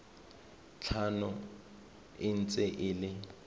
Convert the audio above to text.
tlhano e ntse e le